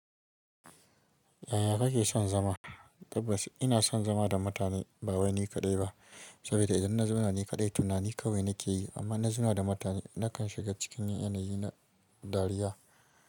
Yaya kake son zama? Tabbas ina son zama da mutane ba wani kaɗai ba, saboda idan na zama nan kaɗai tunani kawai na ke yi, amma na zama da mutane na kan shiga cikin yanayi na dariya.